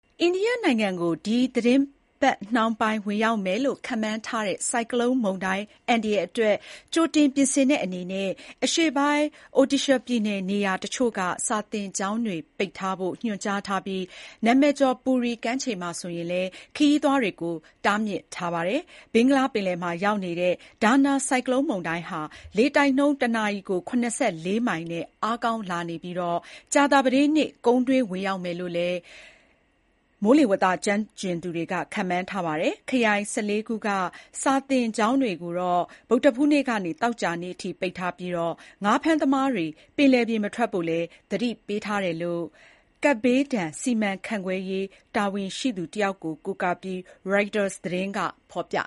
အိန္ဒိယနိုင်ငံကို ဒီသီတင်းပတ်နှောင်းပိုင်း ဝင်ရောက်မယ်လို့ ခန့်မှန်းထားတဲ့ ဆိုင်ကလုန်းမုန်တိုင်း အန္တရာယ်အတွက် ကြိုတင်ပြင်ဆင်တဲ့ အနေနဲ့ အရှေ့ပိုင်း Odisha ပြည်နယ် နေရာတချို့က စာသင်ကျောင်းတွေ ပိတ်ထားဖို့ ညွှန်ကြားထားပြီး၊ နာမည်ကျော် Puri ကမ်းခြေမှာလည်း ခရီးသွားတွေကို တားမြစ်ထားပါတယ်။ ဘင်္ဂလားပင်လယ်မှာ ရောက်နေတဲ့ Dana ဆိုင်ကလုန်းမုန်တိုင်းဟာ လေတိုက်နှုန်း ၁ နာရီ ၇၄ မိုင်နဲ့ အားကောင်းလာနေပြီး၊ ကြာသပတေးနေ့ ကုန်းတွင်းဝင်ရောက်မယ်လို့လည်း မိုးလေဝသကျွမ်းကျင်သူတွေ ခန့်မှန်းထားတာပါ။ ခရိုင် ၁၄ ခုက စာသင်ကျောင်းတွေကိုတော့ ဗုဒ္ဓဟူးနေ့ကနေ သောကြာနေ့အထိ ပိတ်ထားပြီး၊ ငါးဖမ်းသမားတွေ ပင်လယ်ပြင် မထွက်ဖို့လည်း သတိပေးထားတယ်လို့လည်း ကပ်ဘေးဒဏ်စီမံခန့်ခွဲရေး တာဝန်ရှိသူ တယောက်ကို ကိုးကားပြီး ရိုက်တာသတင်းက ဖော်ပြ